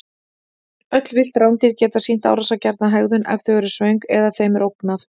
Öll villt rándýr geta sýnt árásargjarna hegðun ef þau eru svöng eða þeim er ógnað.